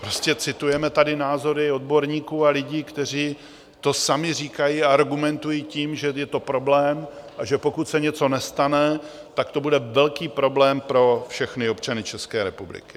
Prostě citujeme tady názory odborníků a lidí, kteří to sami říkají a argumentují tím, že je to problém, a že pokud se něco nestane, tak to bude velký problém pro všechny občany České republiky.